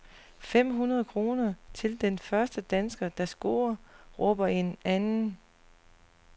Fem hundrede kroner til den første dansker, der scorer, råber en anden.